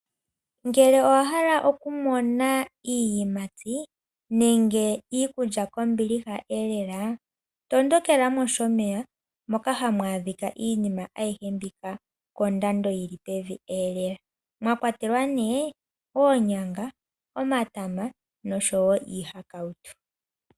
Ngele owahala okumona iiyimati nenge iikulya kombilihaelela. Tondokela mOshomeya moka hamu adhika iinima aihe mbika pondando yili pevielela. Omwakwatelwa oonyanga, omatama noshowoo iihakautu.